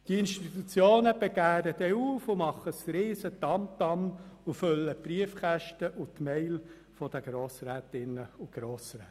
Die Institutionen begehren dann auf, machen ein grosses Tamtam und füllen die Briefkästen und Mailboxen der Grossrätinnen und Grossräte.